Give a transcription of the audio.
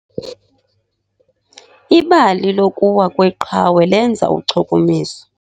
Ibali lokuwa kweqhawe lenza uchukumiso.